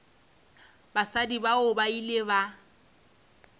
basadi bao ba ile ba